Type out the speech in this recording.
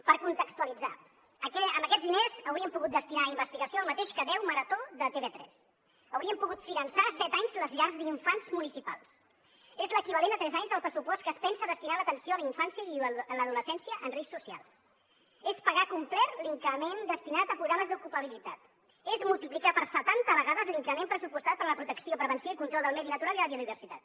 per contextualitzar amb aquests diners hauríem pogut destinar a investigació el mateix que deu marató de tv3 hauríem pogut finançar set anys les llars d’infants municipals és l’equivalent a tres anys del pressupost que es pensa destinar a l’atenció a la infància i l’adolescència en risc social és pagar complet l’increment destinat a programes d’ocupabilitat és multiplicar per setanta vegades l’increment pressupostat per a la protecció prevenció i control del medi natural i la biodiversitat